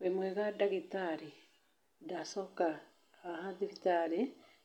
Wĩ mwega ndagĩtarĩ? Ndacoka haha thibitarĩ